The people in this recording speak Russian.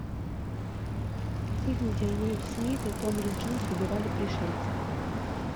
фильм где уилл смит и томми ли джонс убивали пришельцев